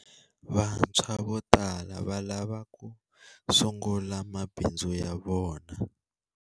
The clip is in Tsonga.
Vantshwa vo tala va lava ku sungula mabindzu ya vona.